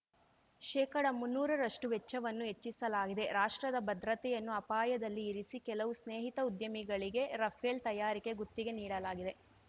ಶೇಕಡಮುನ್ನೂರರಷ್ಟುವೆಚ್ಚವನ್ನು ಹೆಚ್ಚಿಸಲಾಗಿದೆ ರಾಷ್ಟ್ರದ ಭದ್ರತೆಯನ್ನು ಅಪಾಯದಲ್ಲಿ ಇರಿಸಿ ಕೆಲವು ಸ್ನೇಹಿತ ಉದ್ಯಮಿಗಳಿಗೆ ರಫೇಲ್‌ ತಯಾರಿಕೆ ಗುತ್ತಿಗೆ ನೀಡಲಾಗಿದೆ